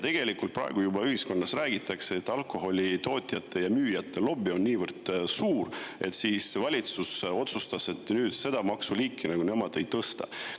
Ühiskonnas juba räägitakse, et alkoholitootjate ja ‑müüjate lobi on niivõrd suur, et valitsus otsustas, et seda maksu nad ei tõsta.